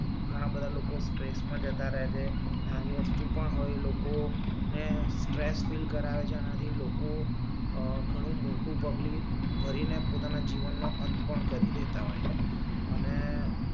ઘણા બધા લોકો સ્ટ્રેસ માં જતા રહે છે નાની વસ્તુ પણ હવે લોકો ને સ્ટ્રેસ ફીલ કરાવે છે જેનાથી લોકો ઘણું મોટું પગલું ભરીને પોતાના જીવનનો અંત પણ કરી દેતા અને